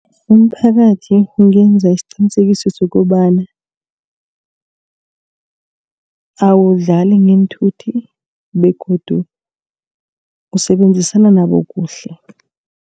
Umphakathi ungenza isiqinisekiso sokobana awudlali ngeenthuthi begodu ukusebenzisana nabo kuhle.